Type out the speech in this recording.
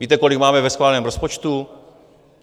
Víte, kolik máte ve schváleném rozpočtu?